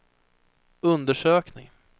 undersökning